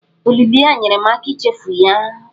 Olili ya nyeere m aka ichefu ya.